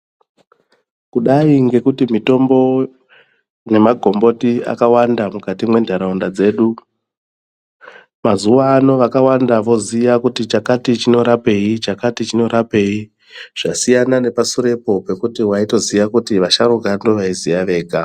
Kudai ngekuti mitombo nemagomboti akawanda mukati mwentharaunda dzedu. Mazuwa ano vakawanda votoziya kuti chakati chinorapei chakati chinorapei. Zvasiyana nepasurepo pekuti waitoziya kuti vasharuka ndovaiziya vega.